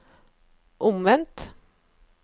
omvendt